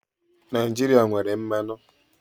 Naijiria nwere mmanụ.